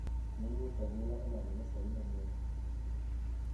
Moluor kagola olando basari manyien